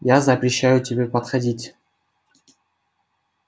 я запрещаю тебе подходить